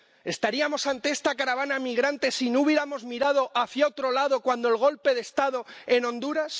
¿Estaríamos ante esta caravana migrante si no hubiéramos mirado hacia otro lado cuando el golpe de Estado en Honduras?